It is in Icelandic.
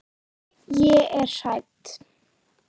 Ég er hrædd.